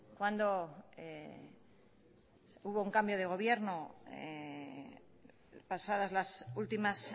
cuando hubo un cambio de gobierno pasadas las últimas